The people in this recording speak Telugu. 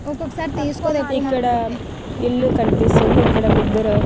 ఇక్కడ ఇల్లు కనిపిస్తుంది ఇక్కడ ముగ్గురు.